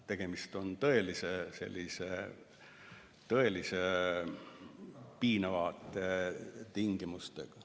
Tegemist on tõeliselt piinavate tingimustega.